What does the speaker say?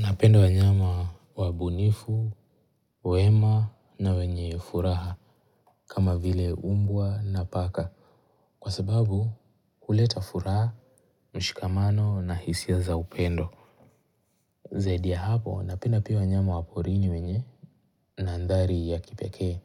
Nawapenda wanyama wabunifu, wema na wenye furaha kama vile mbwa na paka kwa sababu huleta furaha, mshikamano na hisia za upendo. Zaidi ya hapo napenda pia wanyama wa porini wenye na ndari ya kipeke